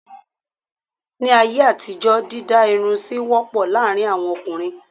Ní ayé àtijó dídá irun sì wọ́pọ̀ láàárín àwọn ọkùnrin.